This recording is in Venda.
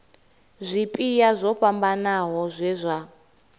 zwipia zwo fhambanaho zwe zwa